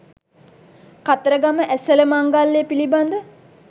කතරගම ඇසළ මංගල්‍යය පිළිබඳ